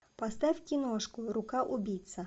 поставь киношку рука убийца